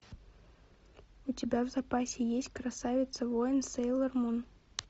у тебя в запасе есть красавица воин сейлор мун